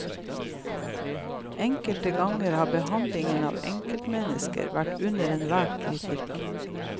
Enkelte ganger har behandlingen av enkeltmennesker vært under enhver kritikk.